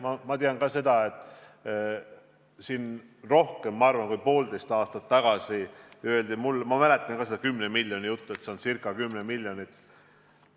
Jah, ma tean ka seda 10 miljoni juttu, rohkem kui poolteist aastat tagasi öeldi mulle, et see on ca 10 miljonit.